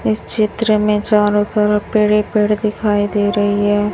इस चित्र में चारों तरफ पेड़ ही पेड़ दिखाई दे रही है।